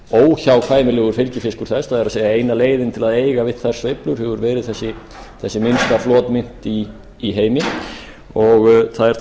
óhjákvæmilegur fylgifiskur þess það er eina leiðin til að eiga við þær sveiflur hefur verið þessi minnsta flotmynt í heimi þær eru